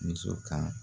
Muso kan